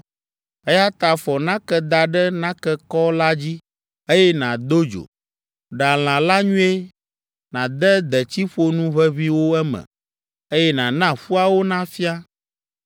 Eya ta fɔ nake da ɖe nakekɔ la dzi, eye nàdo dzo. Ɖa lã la nyuie, nàde detsiƒonu ʋeʋĩwo eme, eye nàna ƒuawo nafia.